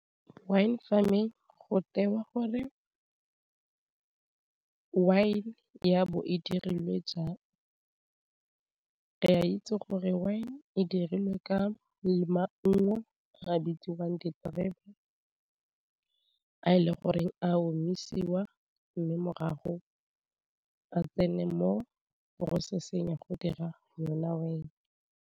Wine Farming go tewa gore wine ya bo e dirilwe jwang re a itse gore wine e dirilwe ka maungo a bitsiwang diterebe a e le goreng a omisiwa mme morago a tsene mo processing ya go dira yona wine.